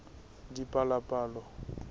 dipalopalo